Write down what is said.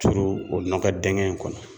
Turu o nɔkɔ dingɛn in kɔnɔ.